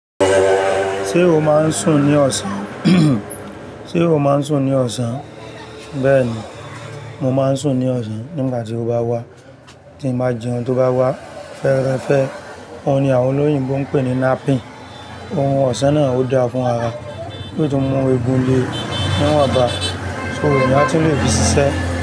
Ṣé o máa ń sùn ní ọ̀sán? Ṣé o máa ń sùn ní ọ̀sán? Bẹ́ẹ̀ ni, mo máa ń sùn ní ọ̀sán nígbà tí mo bá wà. Tí mo bá jẹun tó bá wà fẹ́ rẹ fẹ́. Ó ní àwọn olóyìn bó ń pè ní napping. Ohun ọ̀sán náà ò dáa fún ara. Bí tó mú egun le níwòn bá, ṣo èyán a tun lè fi ṣiṣẹ́?